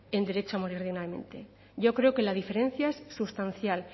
en derecho a morir dignamente yo creo que la diferencia es sustancial